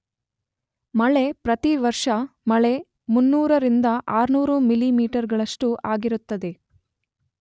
ಮಳೆ ಪ್ರತಿ ವರ್ಷ ಮಳೆ ೩೦೦ ರಿಂದ ೬೦೦ಮಿಮಿ ಗಳಸ್ಟು ಆಗಿರುತ್ತದೆ.